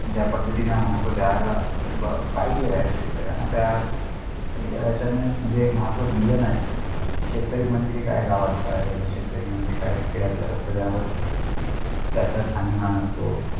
ज्या पद्धतीनं महत्व द्यायला ब पाहिजे आहे शेतकरीयाना त्या आणि त्याचा नाही म्हणजे हे महत्व दिल नाही शेतकरी म्हणजे काय गावातले हे शेतकरी म्हणजे काय खेड्यातलं त्याचा सानिमान असतो